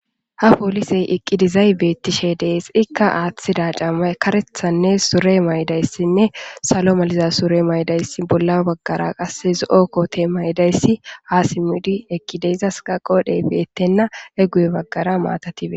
Ha polisey eqqidizay beettishe dees ikka aaththida cama karethanne sure maydayssinne salo maliza sure maydayssi bolla baggara qasse zo7okkote maydayssi hasimudi eqqideyzas ka qoodhey beettenna eguye baggara maatatibe.